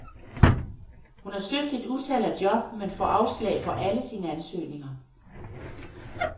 Hun har søgt et utal af job, men får afslag på alle sine ansøgninger.